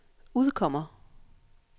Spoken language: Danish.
udkommer